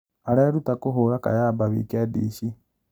Areruta kũhũra kayamba wikendi ici?